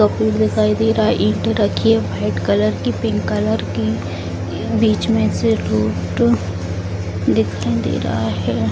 दिखाई दे रहा हैं ईट रखी हुई है वाइट कलर की पिंक कलर की बीच में से टू अ दिखाई दे रहा हैं |